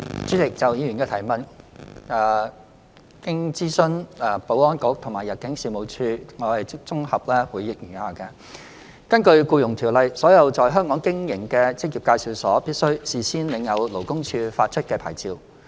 主席，就議員的質詢，經諮詢保安局及入境事務處後，我現綜合答覆如下：一根據《僱傭條例》，所有在香港經營的職業介紹所，必須事先領有勞工處發出的牌照。